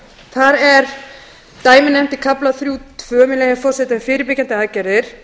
þar er dæmi nefnt í kafla þrjú tvö með leyfi forseta um fyrirbyggjandi aðgerðir